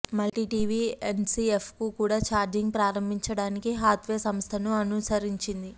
multi TV ఎన్సిఎఫ్కు కూడా charging ప్రారంభించడానికి హాత్వే సంస్థను అనుసరించింది